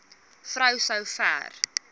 vrou so ver